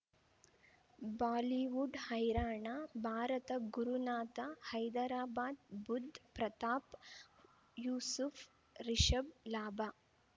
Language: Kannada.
ಬಾಲಿವುಡ್ ಹೈರಾಣ ಭಾರತ ಗುರುನಾಥ ಹೈದರಾಬಾದ್ ಬುಧ್ ಪ್ರತಾಪ್ ಯೂಸುಫ್ ರಿಷಬ್ ಲಾಭ